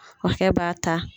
O hakɛ b' ta.